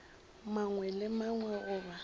mangwe le a mangwe goba